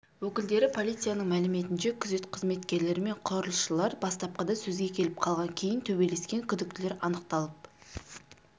өкілдері полицияның мәліметінше күзет қызметкерлері мен құрылысшылар бастапқыда сөзге келіп қалған кейін төбелескен күдіктілер анықталып